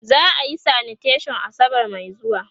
za'a Yi sanitation asabar Mai zuwa